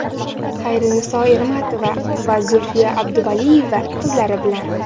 Xayriniso Ermatova va Zulfiya Abduvaliyeva qizlari bilan.